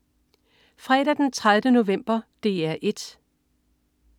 Fredag den 30. november - DR 1: